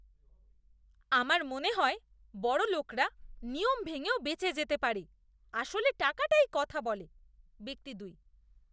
আমার মনে হয় বড়লোকরা নিয়ম ভেঙেও বেঁচে যেতে পারে। আসলে টাকাই কথা বলে! ব্যক্তি দুই